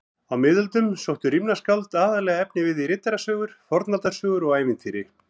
Á miðöldum sóttu rímnaskáld aðallega efnivið í riddarasögur, fornaldarsögur og ævintýri.